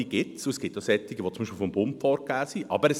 Es gibt sie, und es gibt solche, die vom Bund aus vorgegeben sind.